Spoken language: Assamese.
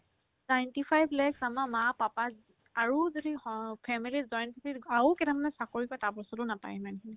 ninety five lakh আমাৰ মা papa ৰ আৰু যদি স family join family ৰ আৰু কেইটামানে চাকৰি কৰে তাৰ পাছতো নাপাই সিমানখিনি